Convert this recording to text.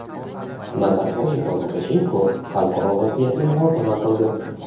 Nazarboyev va Lukashenko xalqaro vaziyatni muhokama qildi.